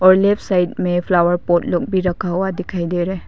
और left side में flower pot लोग भी रखा हुआ दिखाई दे रहा है।